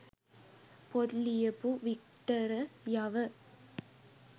පොත් ලියපු වික්ටරයව